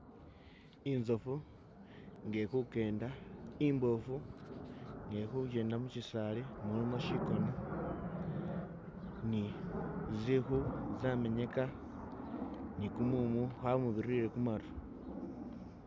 Inzofu nga ili kukenda imboofu nga ilikhukenda mushisaali mulimo shikona ni zikhu zamenyeka ni kumumu kwamubirile khumaru.